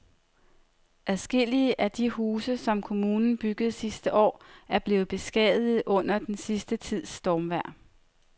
Adskillige af de huse, som kommunen byggede sidste år, er blevet beskadiget under den sidste tids stormvejr.